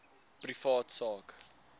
privaat sak